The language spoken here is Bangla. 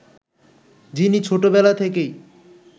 যিনি ছোট বেলা থেকেই